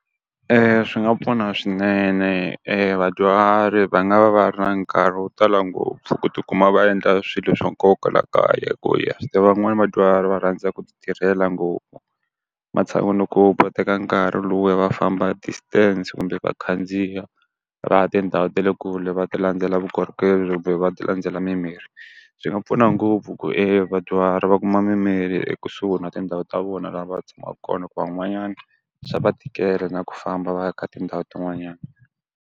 swi nga pfuna swinene e vadyuhari va nga va va ri na nkarhi wo tala ngopfu ku ti kuma va endla swilo swa nkoka laha kaya. ha swi tiva van'wani vadyuhari va rhandza ku ti tirhela ngopfu, matshan'wini ko va teka nkarhi lowuya va famba distance kumbe va khandziya, va tindhawu ta le kule va ti landzela vukorhokeri kumbe va ti landzela mimirhi. Swi nga pfuna ngopfu ku vadyuhari va kuma mimirhi ekusuhi na tindhawu ta vona laha va tshamaka kona hikuva van'wanyana swa va tikela na ku famba va ya ka tindhawu tin'wanyana.